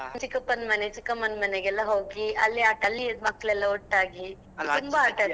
ಚಿಕ್ಕಪ್ಪನ್ ಮನೆ ಚಿಕ್ಕಮ್ಮನ್ ಮನೆಗೆಲ್ಲ ಹೋಗಿ ಅಲ್ಲಿ ಅಲ್ಲಿಯದ್ ಮಕ್ಳೆಲ್ಲ ಒಟ್ಟಾಗಿ